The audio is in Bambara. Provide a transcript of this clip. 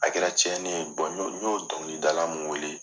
A kɛra cɛni ye n y'o n y'o o dɔnkilidala mun wele.